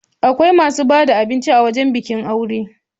Akwai masu ba da abinci a wurin bikin aure.